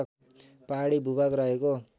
पहाडी भूभाग रहेको